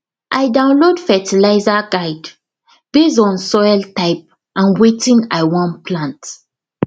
i download fertiliser guide based on soil type and wetin i wan plant